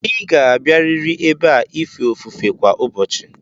Ịga abịarịrị ebe a ife ofufe kwa ụbọchị!